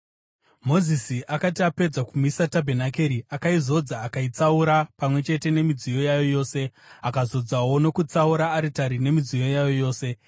Mozisi akati apedza kumisa tabhenakeri, akaizodza akaitsaura pamwe chete nemidziyo yayo yose. Akazodzawo nokutsaura aritari nemidziyo yayo yose.